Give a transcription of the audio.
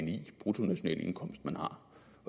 bruttonationalindkomst man har